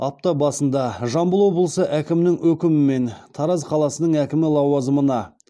апта басында жамбыл облысы әкімінің өкімімен тараз қаласының әкімі лауазымына